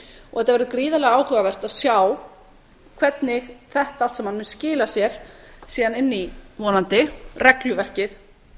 og það verður gríðarlega áhugavert að sjá hvernig þetta allt saman mun skila sér síðan inn í vonandi regluverkið